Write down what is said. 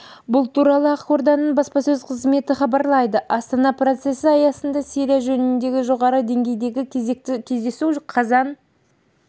бұл туралы ақорданың баспасөз қызметі хабарлайды астана процесі аясында сирия жөнінде жоғары деңгейдегі кезекті кездесу қазан